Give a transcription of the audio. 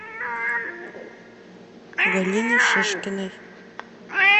галине шишкиной